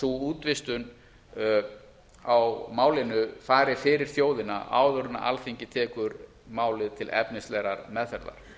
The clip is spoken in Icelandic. sú útvistun á málinu fari fyrir þjóðina áður en alþingi tekur málið til efnislegrar meðferðar